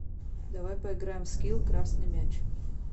давай поиграем в скил красный мяч